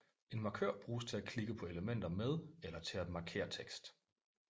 En markør bruges til at klikke på elementer med eller til at markere tekst